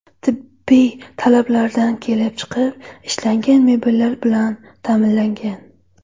Tibbiy talablardan kelib chiqib ishlangan mebellar bilan ta’minlangan.